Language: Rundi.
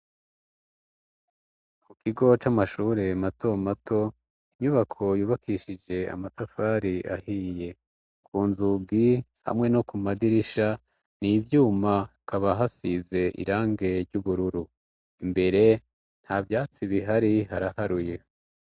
Ku kigo c'amashure mato mato inyubako yubakishije amatafari ahiye ku nzugi hamwe no ku madirisha ni ivyuma kaba hasize irange ry'ubururu, imbere nta vyatsi bihari haraharuye.